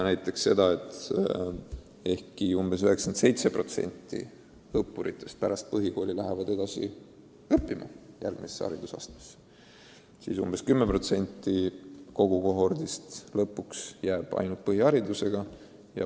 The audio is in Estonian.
Näiteks ehkki 97% õppuritest läheb põhikoolist edasi õppima järgmisse haridusastmesse, jääb umbes 10% kogu kohordist lõpuks ainult põhiharidusega.